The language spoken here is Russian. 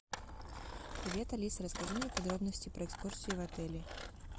привет алиса расскажи мне подробности про экскурсии в отеле